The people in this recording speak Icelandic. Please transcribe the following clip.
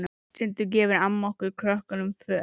Stundum gefur amma okkur krökkunum föt.